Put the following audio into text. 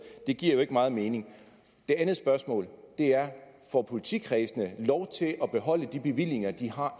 giver jo ikke meget mening det andet spørgsmål er får politikredsene lov til at beholde de bevillinger de har